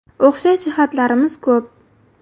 O‘xshash jihatlarimiz ko‘p.